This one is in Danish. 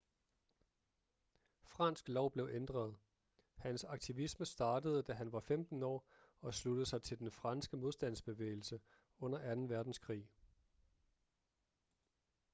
fransk lov blev ændret hans aktivisme startede da han var 15 år og sluttede sig til den franske modstandsbevægelse under 2. verdenskrig